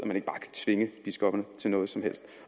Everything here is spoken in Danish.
tvinge biskopperne til noget som helst